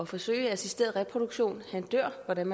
forsøge med assisteret reproduktion dør hvordan